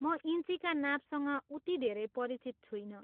म इन्चीका नापसँग उति धेरै परिचित छुइनँ।